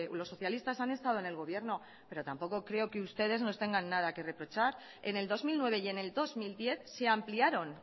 los socialistas han estado en el gobierno pero tampoco que ustedes nos tengan nada que reprochar en el dos mil nueve y en el dos mil diez se ampliaron